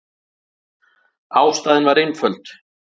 Ástæðan var einföld.